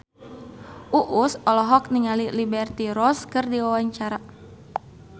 Uus olohok ningali Liberty Ross keur diwawancara